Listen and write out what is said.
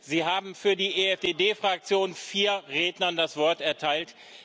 Sie haben für die EFDD Fraktion vier Rednern das Wort erteilt.